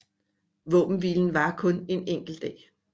Våbenhvilen varer kun en enkelt dag